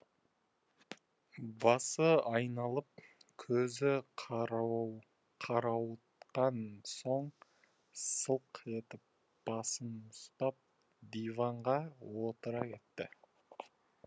басы айналып көзі қарауытқан соң сылқ етіп басын ұстап диванға отыра кетті